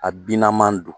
A bina don